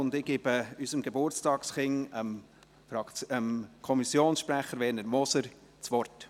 Ich gebe unserem Geburtstagskind, Kommissionssprecher Werner Moser, das Wort.